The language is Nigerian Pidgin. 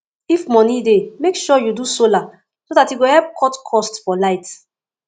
if moni dey mek sure say yu do solar so dat e go help cut cost for light